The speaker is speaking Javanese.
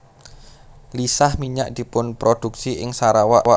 Lisah minyak dipunprodhuksi ing Sarawak